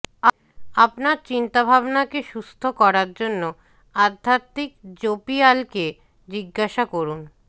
আপনার চিন্তাভাবনাকে সুস্থ করার জন্য আধ্যাত্মিক জোপিয়ালকে জিজ্ঞাসা করুন